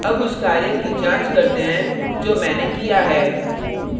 अब उस कार्य की जांच करते हैं जो मैंने किया है